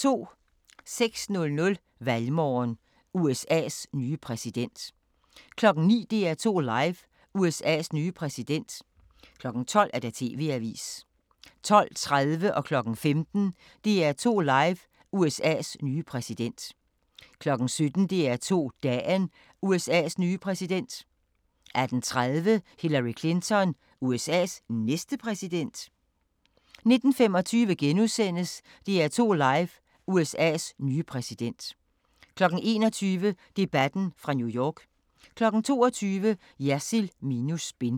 06:00: Valgmorgen: USA's nye præsident 09:00: DR2 Live: USA's nye præsident 12:00: TV-avisen 12:30: DR2 Live: USA's nye præsident 15:00: DR2 Live: USA's nye præsident 17:00: DR2 Dagen: USA's nye præsident 18:30: Hillary Clinton – USA's næste præsident? * 19:25: DR2 Live: USA's nye præsident * 21:00: Debatten fra New York 22:00: Jersild minus spin